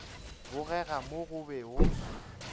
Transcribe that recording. bogega mo o bego o